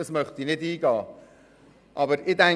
Darauf möchte ich nicht eingehen.